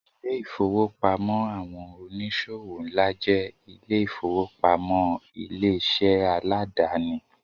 Ilé-ìfowópamọ́ àwọn oníṣòwò ńlá jẹ́ ilé-ìfowópamọ́ ilé-iṣẹ́ aládàáni.